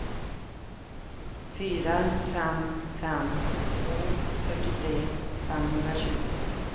fyra fem fem två fyrtiotre femhundratjugo